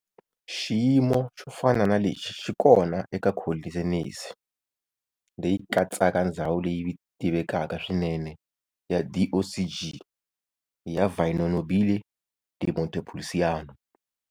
Xiyimo xofana na lexi xikona eka Colli Senesi leyi katsaka ndzhawu leyi tivekaka swinene ya DOCG ya Vino Nobile di Montepulciano.